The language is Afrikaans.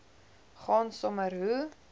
gaan sommer hoe